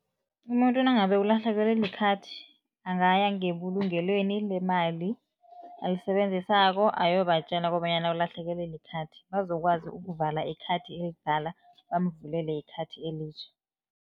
Umuntu nangabe ulahlekelwe likhadi, angaya ngebulungelweni lemali alisebenzisako, ayobatjela kobanyana ulahlekelwe likhadi, bazokwazi ukuvala ikhadi elidala, bamvulele ikhadi elitjha.